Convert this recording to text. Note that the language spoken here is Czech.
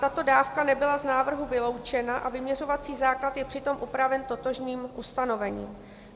Tato dávka nebyla z návrhu vyloučena a vyměřovací základ je přitom upraven totožným ustanovením.